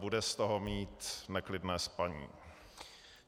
Bude z toho mít neklidné spaní.